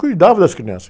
Cuidava das crianças.